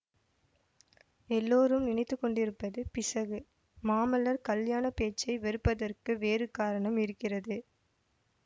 எல்லோரும் நினைத்துக்கொண்டிருப்பது பிசகு மாமல்லர் கல்யாணப் பேச்சை வெறுப்பதற்கு வேறு காரணம் இருக்கிறது